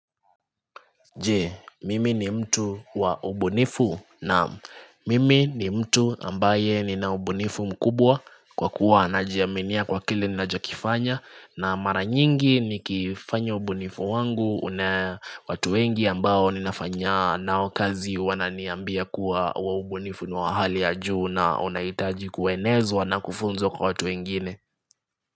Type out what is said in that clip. Je, mimi ni mtu wa ubunifu naam mimi ni mtu ambaye nina ubunifu mkubwa kwa kuwa najiaminia kwa kile ninacho kifanya na mara nyingi ni kifanya ubunifu wangu una watu wengi ambao ninafanya nao kazi wananiambia kuwa ubunifu ni wa hali ya juu na unaitaji kuwenezwa na kufunzwa kwa watu wengine.